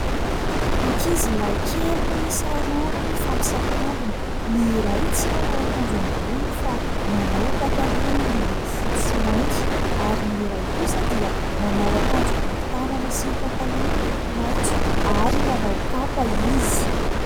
Ankizy lahy kely miisa roa no mfampisakambina. Ny iray tsy manao akanjo ambony fa manao pataloha miloko fotsy sy mainty. Ary ny iray kosa dia manao akanjo bory tànana sy pataloha miloko maintso, ary manao kapa izy.